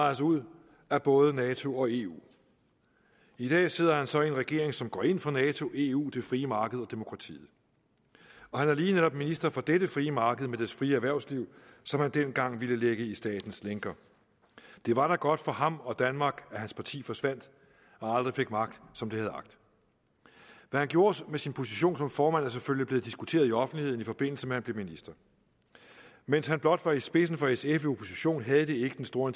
os ud af både nato og eu i dag sidder han så i en regering som går ind for nato eu det frie marked og demokratiet og han er lige netop minister for dette frie marked med dets frie erhvervsliv som han dengang ville lægge i statens lænker det var da godt for ham og danmark at hans parti forsvandt og aldrig fik magt som det havde agt hvad han gjorde med sin position som formand er selvfølgelig blevet diskuteret i offentligheden i forbindelse med at han blev minister mens han blot var i spidsen for sf i opposition havde det ikke den store